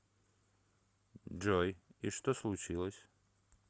джой и что случилось